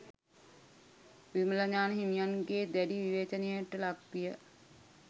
විමලඥාන හිමියන්ගේ දැඩි විවේචනයට ලක් විය